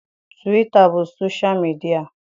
Twita bụ sosha midịa.